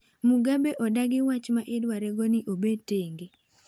Mugabe odagi waach ma idware go ni obed tenge